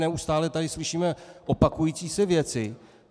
Neustále tady slyšíme opakující se věci.